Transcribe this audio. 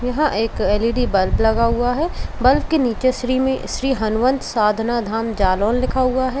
यह एक L E D bulb लगा हुआ है। बल्ब के नीचे श्री श्री हनुमंत साधना धाम जलोन लिखा हुआ है।